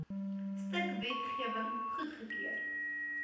stuk wetgewing goedgekeur